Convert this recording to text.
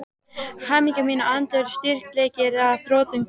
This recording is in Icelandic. Hamingja mín og andlegur styrkleiki er að þrotum kominn.